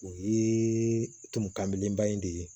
O ye tumukanbeleba in de ye